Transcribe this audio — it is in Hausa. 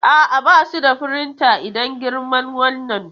A'a, ba su da firinta idan girman wannan.